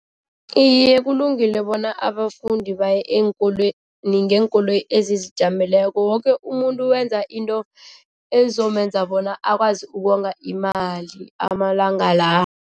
Iye, kulungile bona abafundi baye eenkolweni ngeenkoloyi ezizijameleko woke umuntu wenza into ezomenza bona akwazi ukonga imali amalanga